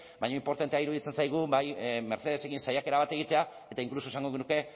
baina inportantea iruditzen zaigu mercedesekin saiakera bat egitea eta inkluso esango genuke